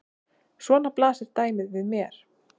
Svona blasir dæmið við mér.